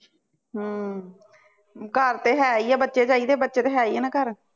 ਹੁੰ ਘਰ ਤੇ ਹੈਇਆ ਬੱਚੇ ਚਾਹੀਦੇ ਬੱਚੇ ਤੇ ਹੈ ਹੈਇਆ ਨਾ ਘਰ